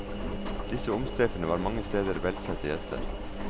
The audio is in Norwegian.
Disse omstreiferne var mange steder velsette gjester.